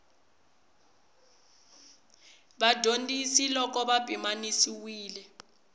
ya vadyondzi loko ya pimanisiwa